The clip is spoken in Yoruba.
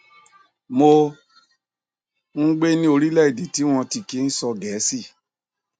mò ń gbé ní orílẹèdè tí wọn ò ti kí ń sọ gẹẹsì